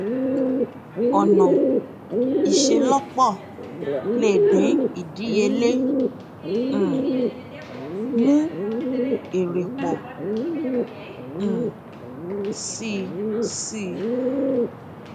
ọnà ìselọpọ lè dín ìdíyelé um mú èrè pọ um sí sí